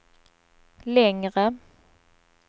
längre